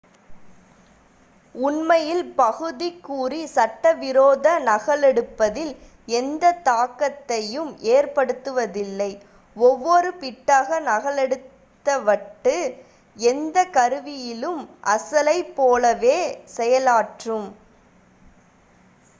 உண்மையில் பகுதிக் குறி சட்ட விரோத நகலெடுப்பதில் எந்த தாக்கத்தையும் ஏற்படுத்துவதில்லை ஒவ்வொரு பிட்டாக நகலெடுத்த வட்டு எந்த கருவியிலும் அசலைப் போலவே செயலாற்றும்